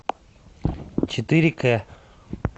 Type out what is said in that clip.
четыре к